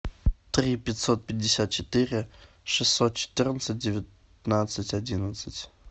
три пятьсот пятьдесят четыре шестьсот четырнадцать девятнадцать одиннадцать